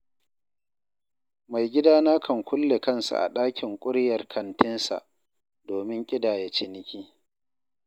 Mai gidana kan kulle kansa a ɗakin ƙuryar kantinsa, domin ƙidaya ciniki.